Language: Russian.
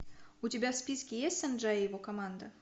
у тебя в списке есть санджай и его команда